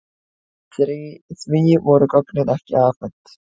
Því voru gögnin ekki afhent.